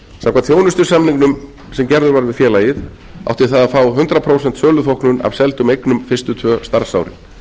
samkvæmt þjónustusamningnum sem gerður var við félagið átti það að fá hundrað prósent söluþóknun af seldum eignum fyrstu tvö starfsárin